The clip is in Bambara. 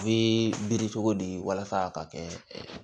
U bɛ biri cogo di walasa a ka kɛ